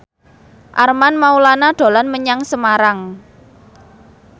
Armand Maulana dolan menyang Semarang